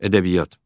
Ədəbiyyat.